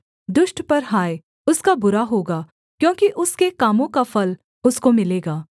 दुष्ट पर हाथ उसका बुरा होगा क्योंकि उसके कामों का फल उसको मिलेगा